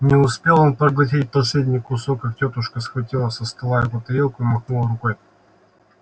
не успел он проглотить последний кусок как тётушка схватила со стола его тарелку и махнула рукой